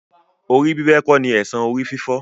Orí bíbẹ kò ní èsan orí-fífọ́.